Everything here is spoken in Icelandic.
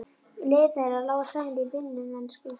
Leiðir þeirra lágu saman í vinnumennsku.